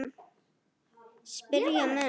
spyrja menn.